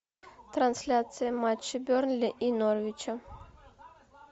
трансляция матча бернли и норвича